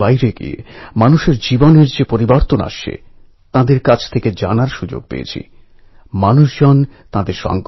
British শাসকদের ভুলভ্রান্তি দেখিয়ে দেওয়ার মতো ক্ষমতা ও বুদ্ধিমত্তা তাঁর ছিল